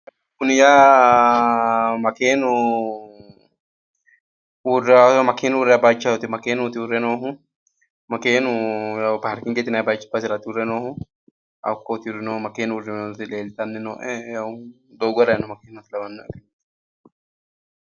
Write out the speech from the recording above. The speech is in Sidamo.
Kuni yaa makeenu uurrawo bayichooti makeenuti uurre noohu makeenu paarkingete yinayi basera uurre nohu hakkooti makeenu uurre nooti leeltanni noo"e doogo harayi noo makkena lawanno"e